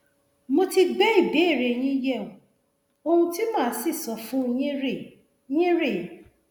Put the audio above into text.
mo ti gbé ìbéèrè yín yẹwò ohun tí màá sì sọ fún yín rèé yín rèé